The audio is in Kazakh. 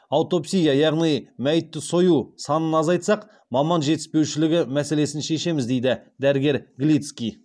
аутопсия яғни мәйітті сою санын азайтсақ маман жетіспеушілігі мәселесін шешеміз дейді дәрігер глицкий